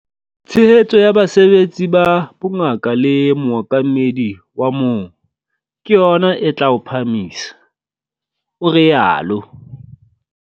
"Tshehetso ya basebetsi ba bongaka le mookamedi wa moo - ke yona e tla o phahamisa," o rialo.